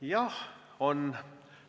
Jah, on.